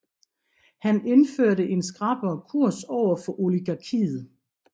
Han indførte en skrappere kurs overfor oligarkiet